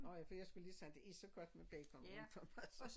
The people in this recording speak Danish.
Nå ja for jeg skulle lige sige det er så godt med bacon rundt om altså